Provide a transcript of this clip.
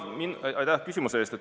Aitäh küsimuse eest!